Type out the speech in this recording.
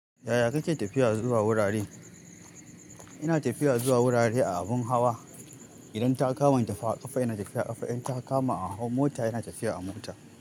Yaya ka ke tafiya zuwa wurare? Ina tafiya zuwa wurare a abin hawa. Idan ta kama in tafiya a ƙafa, ina tafiya a ƙafa. In ta kama a mota, ina tafiya a mota.